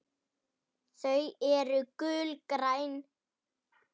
Ekki séns.